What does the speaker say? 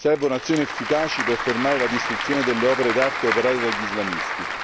Servono azioni efficaci per fermare la distruzione delle opere d'arte operata dagli islamisti.